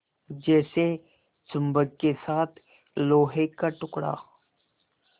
जैसे चुम्बक के साथ लोहे का टुकड़ा